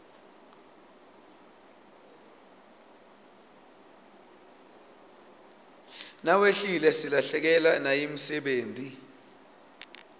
nawehlile silahlekewa nayimdebeti